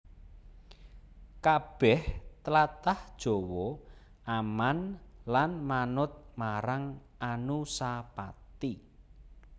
Kabèh tlatah Jawa aman lan manut marang Anusapati